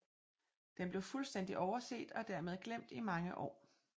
Den blev fuldstændig overset og dermed glemt i mange år